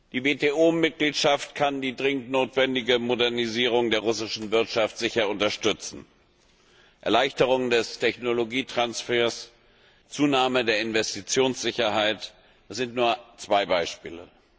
Die WTO Mitgliedschaft kann die dringend notwendige Modernisierung der russischen Wirtschaft sicher unterstützen Erleichterung des Technologietransfers, Zunahme der Investitionssicherheit das sind nur zwei Beispiele.